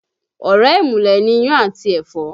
Ọ̀rẹ́ ìmùlẹ̀ ni iyán àti ẹ̀fọ́